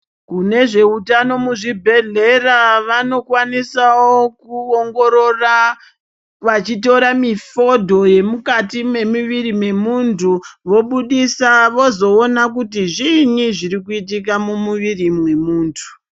Vezvehutano muzvibhedhlera vanokwanisawo kuongorora Vachitora mifodho yemukati memumwiri memuntu vobudisa vozoona kuti zvinyi zviri kuitika mumwiri memuntu.